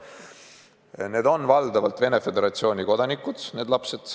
Need lapsed on valdavalt Venemaa Föderatsiooni kodanikud.